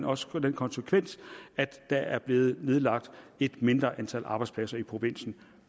også den konsekvens at der er blevet nedlagt et mindre antal arbejdspladser i provinsen